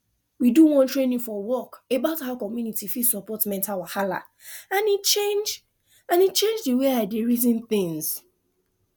we do one training for work about how community fit support mental wahala and e change and e change the way i dey reason things